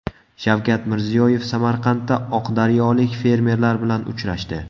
Shavkat Mirziyoyev Samarqandda oqdaryolik fermerlar bilan uchrashdi.